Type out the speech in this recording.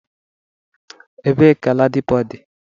Ebe ka Ladipo dị?